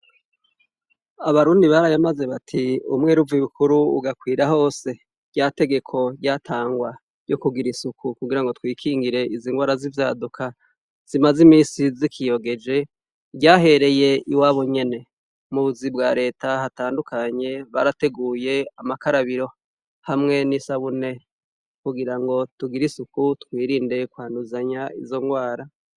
Abarundi barayamaze bati umwera uv'ibukuru ugakwira hose. Ryategeko ryatangwa kugirango twikingire izingwara z'ivyaduka zimaze imisi zikiyogeje ryahereye iwabo nyene. Mubuzi bwa rete hatandukanye bwa reta barateguye amakarabiro hamwe n'isabune kugirango tugire isuku twirinde kwanduzanya izongwara.